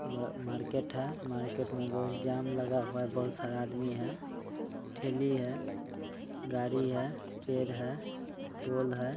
म -मार्केट है मार्केट में बहुत जाम लगा हुआ है बहुत सारा आदमी है ठेली है गाड़ी है पेड़ है पोल है।